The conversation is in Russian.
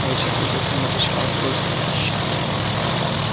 волчица совсем отощала в поисках пищи